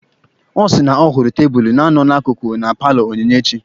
Ọ sị na ọ hụrụ tebụlụ na-anọ n'akụkụ na paalọ Onyinyechi.